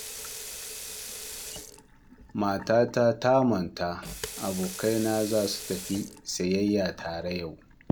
Matata da matan abokaina za su tafi sayayya tare yau